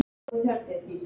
Ó, ó, Tóti minn.